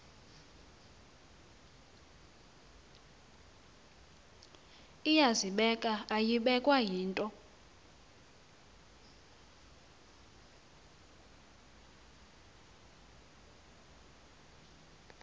iyazibeka ayibekwa yinto